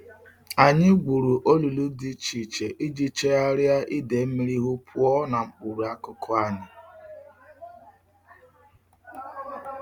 Anyi gwuru olulu di iche iche Iji chegharia ide mmiri ihu puo na mkpuru akuku anyi.